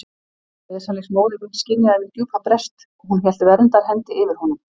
Veslings móðir mín skynjaði minn djúpa brest og hún hélt verndarhendi yfir honum.